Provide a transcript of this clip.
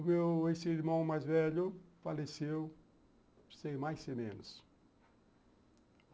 O meu ex-irmão mais velho faleceu, sem mais sem menos.